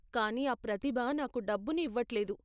కానీ ఆ ప్రతిభ నాకు డబ్బుని ఇవ్వట్లేదు.